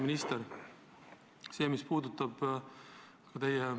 Auväärt minister!